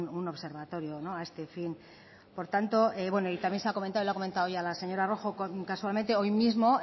un observatorio a este fin por tanto y también se ha comentado lo ha comentado ya la señora rojo casualmente hoy mismo